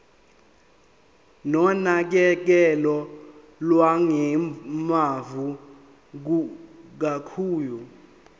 nonakekelo lwangemuva kokuya